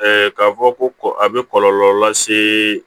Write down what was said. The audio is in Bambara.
k'a fɔ ko a bɛ kɔlɔlɔ lase